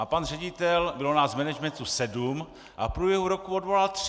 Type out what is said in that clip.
A pan ředitel - bylo nás v managementu sedm a v průběhu roku odvolal tři.